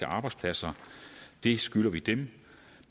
arbejdspladser det skylder vi dem